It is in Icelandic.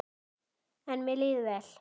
En mér líður vel.